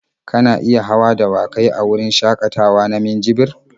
Kana iya hawan dawakai a wurin shakatawa na minjibir.